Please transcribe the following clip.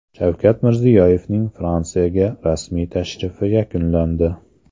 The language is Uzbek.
Shavkat Mirziyoyevning Fransiyaga rasmiy tashrifi yakunlandi.